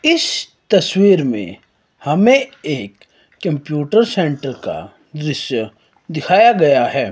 इस तस्वीर में हमें एक कंप्यूटर सेंटर का दृश्य दिखाया गया है।